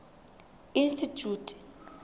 institjhute